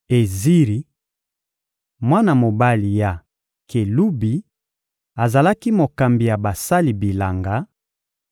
Eziri, mwana mobali ya Kelubi, azalaki mokambi ya basali bilanga;